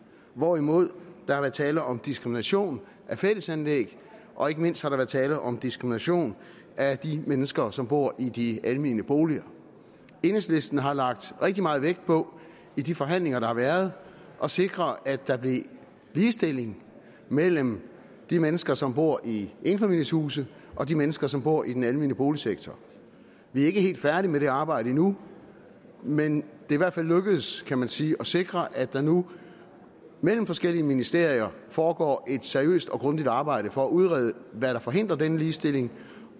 hvorimod der har været tale om diskrimination af fællesanlæg og ikke mindst har der været tale om diskrimination af de mennesker som bor i de almene boliger enhedslisten har lagt rigtig meget vægt på i de forhandlinger der har været at sikre at der blev ligestilling mellem de mennesker som bor i enfamilieshuse og de mennesker som bor i den almene boligsektor vi er ikke helt færdige med det arbejde endnu men det i hvert fald lykkedes kan man sige at sikre at der nu mellem forskellige ministerier foregår et seriøst og grundigt arbejde for at udrede hvad der forhindrer denne ligestilling